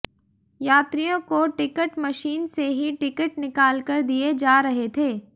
यात्रियों को ticket machine से ही टिकट निकालकर दिए जा रहे थे